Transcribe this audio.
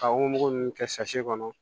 Ka womugu ninnu kɛ kɔnɔ